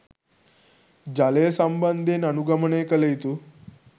ජලය සම්බන්ධයෙන් අනුගමනය කළ යුතු